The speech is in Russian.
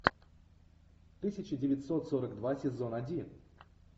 тысяча девятьсот сорок два сезон один